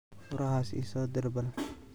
Furaxas iisodir bal.